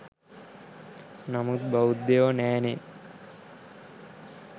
නමුත් බෞද්ධයො නෑනේ